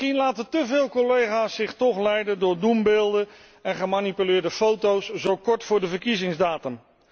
Misschien laten te veel collega's zich toch leiden door doembeelden en gemanipuleerde foto's zo kort voor de verkiezingsdatum.